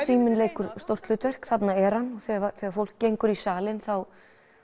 síminn leikur stórt hlutverk þarna er hann þegar fólk gengur í salinn þá